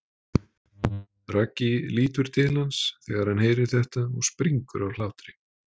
Raggi lítur til hans þegar hann heyrir þetta og springur af hlátri.